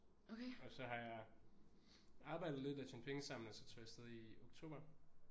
Og så har jeg arbejdet lidt og tjent penge sammen og så tog jeg afsted i oktober